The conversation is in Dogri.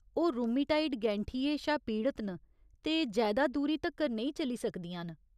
ओह् रुमेटाइड गैंठिये शा पीड़त न ते जैदा दूरी तक्कर नेईं चली सकदियां न।